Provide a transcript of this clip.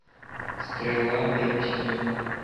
стрела первый сезон